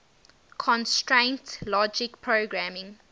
constraint logic programming